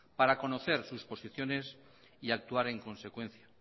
para conocer sus posiciones y actuar en consecuencia